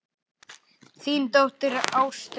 Þín dóttir, Ástrós.